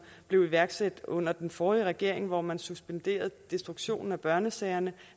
blev iværksat under den forrige regering hvor man suspenderede destruktionen af børnesagerne